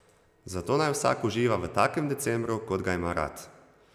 Zato naj vsak uživa v takem decembru, kot ga ima rad.